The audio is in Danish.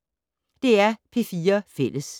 DR P4 Fælles